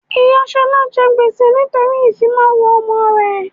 Ìyá Ṣọlá jẹ gbèsè nítorí ìfimawo ọmọ rẹ